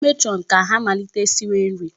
Gwa matron ka ọ malite siwe nri.